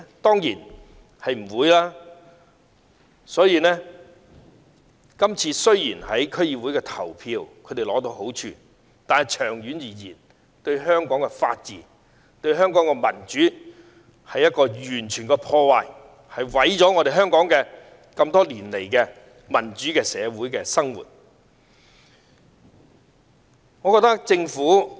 所以，雖然他們在今次區議會選舉中取得好處，但長遠而言，這樣會破壞香港的法治和民主，毀掉香港經多年建立的民主社會基礎。